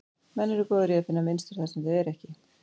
Menn eru góðir í að finna mynstur þar sem þau eru ekki.